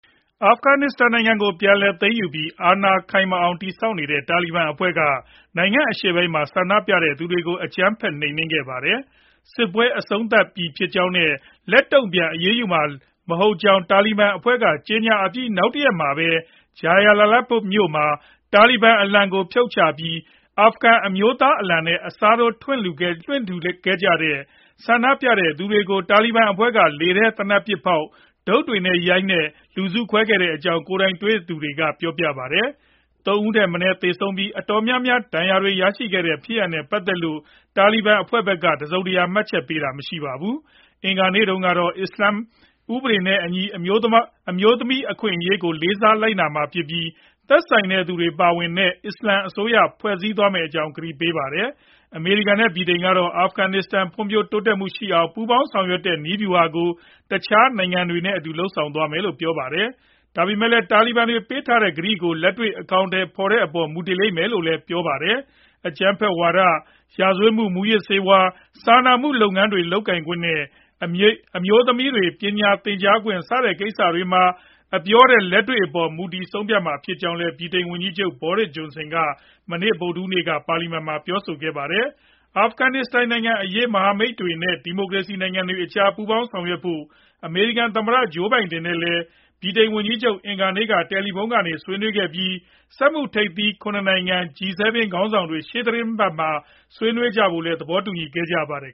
အာဖဂန်နစ္စတန်နိုင်ငံကို ပြန်လည်သိမ်းပြီး အာဏာခိုင်မာအောင် တည်ဆောက်နေတဲ့ တာလီဘန်အဖွဲ့က နိုင်ငံအရှေ့ပိုင်းမှာ ဆန္ဒပြသူတွေကို အကြမ်းဖက် နှိမ်နင်းခဲ့ပါတယ်။ စစ်ပွဲအဆုံးသတ်ပြီဖြစ်ကြောင်းနဲ့ လက်တုံ့ပြန် အရေးယူတာတွေ လုပ်မှာမဟုတ်ကြောင်း တာလီဘန်အဖွဲ့က ကြေညာအပြီး နောက်တရက်မှာပဲ Jalalabad မြို့မှာ တာလီဘန်အလံကို ဖြုတ်ချပြီး အာဖဂန်အမျိုးသား အလံကို အစားထိုးလွှင့်ထူခဲ့ ဆန္ဒပြခဲ့တဲ့သူတွေကို တာလီဘန်တပ်ဖွဲ့တွေက လေထဲကို သေနတ်ပစ်ဖောက်၊ ဒုတ်တွေနဲ့ ရိုက်နှက် လူစုခွဲခဲ့ကြကြောင်း ကိုယ်တိုင်တွေ့သူတွေက ပြောပါတယ်။ ၃ ဦးထက်မနည်း သေဆုံးပြီး အတော်များများ ဒဏ်ရာတွေရရှိခဲ့တဲ့ ဖြစ်ရပ်နဲ့ ပတ်သက်လို့ တာလီဘန်အဖွဲ့က တစုံတရာ မှတ်ချက်ပေးတာမရှိပါဘူး။ အင်္ဂါနေ့ ကတော့ အစ္စလာမ်ဥပဒေနဲ့အညီ အမျိုးသမီးအခွင့်အရေးကို လေးစားလိုက်နာမှာဖြစ်ပြီး၊ သက်ဆိုင်သူတွေ ပါဝင်တဲ့ အစ္စလာမ်အစိုးရ ဖွဲ့စည်းသွားမယ့်အကြောင်း ကတိပေးခဲ့ပါတယ်။ အမေရိကန် နဲ့ ဗြိတိန် တို့ကတော့ အာဖဂန်နစ္စတန် ဖွံဖြိုးတိုးတက်မှုရှိအောင် ပူးပေါင်းဆောင်ရွက်တဲ့ နည်းဗျုဟာကို တခြားနိုင်ငံတွေနဲ့အတူ လုပ်ဆောင်သွားမယ်လို့ ပြောပါတယ်။ ဒါပေမဲ့လည်း တာလီဘန်တွေ ပေးထားတဲ့ကတိတွေကို လက်တွေ့ အကောင်အထည် ဖော်တဲ့အပေါ် မူတည်လိမ့်မယ်လို့လည်း ပြောဆိုခဲ့တာပါ။ အကြမ်းဖက်ဝါဒ၊ ရာဇဝတ်မှု၊ မူးယစ်ဆေးဝါး၊ စာနာမှုလုပ်ငန်းတွေ လုပ်ကိုင်ခွင့်နဲ့ မိန်းကလေးတွေ ပညာသင်ခွင့် စတဲ့ကိစ္စတွေမှာ အပြောထက် လက်တွေ့လုပ်ရပ်အပေါ် မူတည်ဆုံးဖြတ်မှာ ဖြစ်ကြောင်းလည်း ဗြိတိန်ဝန်ကြီးချုပ် Boris Johnson က ဗုဒ္ဓဟူးနေ့မှာ ပါလီမန်ကို ပြောဆိုခဲ့ပါတယ်။ အာဖဂနစ္စတန်နိုင်ငံအရေး မဟာမိတ်တွေနဲ့ ဒီမိုကရေစီနိုင်ငံတွေကြား ပူးပေါင်း ဆောင်ရွက်ဖို့ အမေရိကန် သမ္မတ Joe Biden နဲ့လည်း ဗြိတိန်ဝန်ကြီးချုပ် အင်္ဂါနေ့က တယ်လီဖုန်းကနေ ဆွေးနွေးခဲ့ပြီး စက်မှုထိပ်သီး ၇ နိုင်ငံ ခေါင်းဆောင်တွေ ရှေ့သီတင်းပတ်မှာ ဆွေးနွေးဖို့လည်း သဘောတူခဲ့ကြပါတယ်